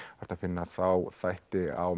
hægt að finna þá þætti á